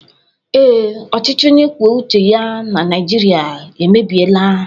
Ee, ọchịchị onye kwuo uche ya na Naijiria emebiela